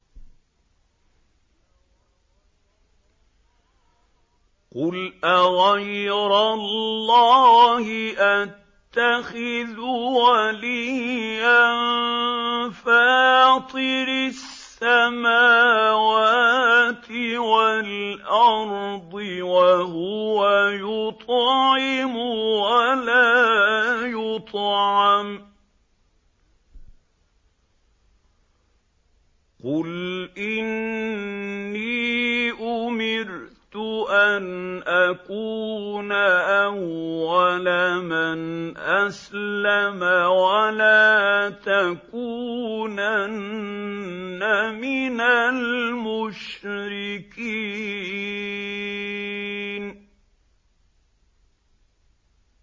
قُلْ أَغَيْرَ اللَّهِ أَتَّخِذُ وَلِيًّا فَاطِرِ السَّمَاوَاتِ وَالْأَرْضِ وَهُوَ يُطْعِمُ وَلَا يُطْعَمُ ۗ قُلْ إِنِّي أُمِرْتُ أَنْ أَكُونَ أَوَّلَ مَنْ أَسْلَمَ ۖ وَلَا تَكُونَنَّ مِنَ الْمُشْرِكِينَ